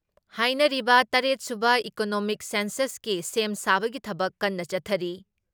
ꯍꯥꯏꯅꯔꯤꯕ ꯇꯔꯦꯠ ꯁꯨꯕ ꯏꯀꯣꯅꯣꯃꯤꯛ ꯁꯦꯟꯁꯁꯀꯤ ꯁꯦꯝ ꯁꯥꯕꯒꯤ ꯊꯕꯛ ꯀꯟꯅ ꯆꯠꯊꯔꯤ ꯫